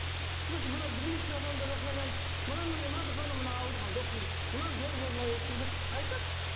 біз мына білмейтін адам мына мына дұғаны мына ауырғанда оқыңыз мына жол болмай тұрды айтады